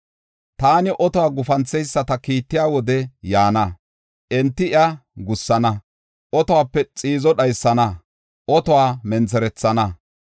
Taani otuwa gupanthesata kiittiya wodey yaana. Enti iya gussana; otuwape xiizo dhaysana; otuwa mentherethana.